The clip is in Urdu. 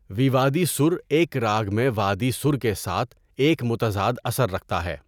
ویوادی سُر ایک راگ میں وادی سُر کے ساتھ ایک متضاد اثر رکھتا ہے۔